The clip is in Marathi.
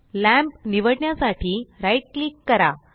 लॅंम्प निवडण्यासाठी राइट क्लिक करा